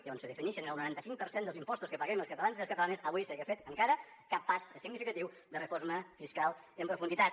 i on se definixen el noranta cinc per cent dels impostos que paguem els catalans i les catalanes avui no s’hagi fet encara cap pas significatiu de reforma fiscal en profunditat